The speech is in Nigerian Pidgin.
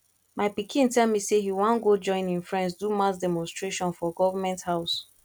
my pikin tell me say he wan go join im friends do mass demonstration for government house